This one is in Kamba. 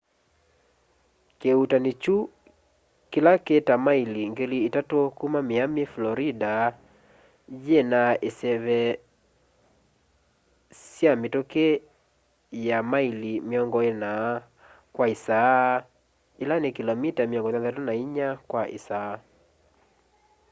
kiuutani kyu kila ki ta maili 3,000 kuma miami florida yina iseve sya mituki ya maili 40 kwa isaa ila ni kilomita 64 kwa isaa